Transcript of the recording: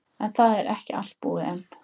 En það var ekki allt búið enn.